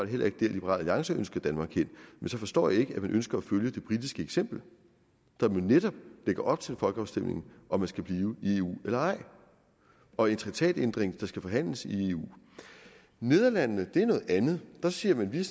heller ikke dér liberal alliance ønsker danmark hen men så forstår jeg ikke at man ønsker at følge det politiske eksempel som jo netop lægger op til en folkeafstemning om man skal blive i eu eller ej og en traktatændring der skal forhandles i eu nederlandene er noget andet der siger man vi er